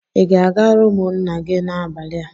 Ị ga-aga rumụ nna gị n'abalị a?